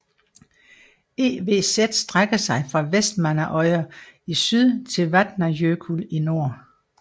EVZ strækker sig fra Vestmannaeyjar i syd til Vatnajökull i nord